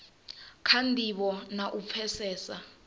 kha ndivho na u pfesesa